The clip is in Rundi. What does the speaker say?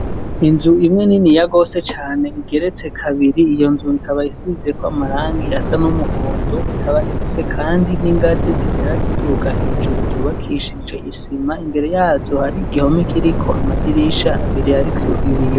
Inzu imwe niniya gose cane, igeretse kabiri, iyo nzu ikaba isizeko amarangi asa n'umuhondo, ikaba ifise kandi n'ingazi zitera ziduga hejuru zubakishije isima, imbere yazo har'igihome kiriko amadirisha abiri ariko ibiyo.